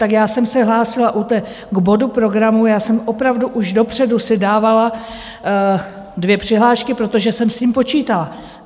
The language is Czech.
Tak já jsem se hlásila u té - k bodu programu, já jsem opravdu už dopředu si dávala dvě přihlášky, protože jsem s tím počítala.